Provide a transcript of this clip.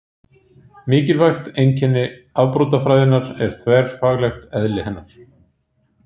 Mikilvægt einkenni afbrotafræðinnar er þverfaglegt eðli hennar.